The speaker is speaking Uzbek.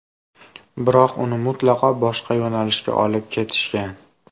Biroq uni mutlaqo boshqa yo‘nalishga olib ketishgan.